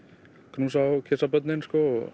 knúsa og kyssa börnin